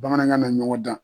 Bamanankan na ɲɔgɔn dan.